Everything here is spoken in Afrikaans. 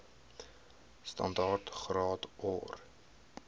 standaard graad or